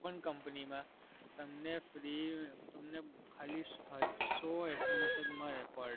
company માં તમને ખાલી સો SMS જ મળે per day.